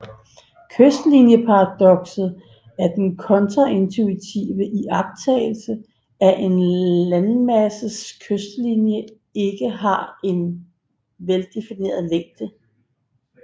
Kystlinjeparadokset er den kontraintuitive iagttagelse at en landmasses kystlinje ikke har en veldefineret længde